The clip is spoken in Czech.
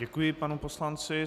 Děkuji panu poslanci.